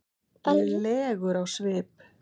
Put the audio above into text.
legur á svip.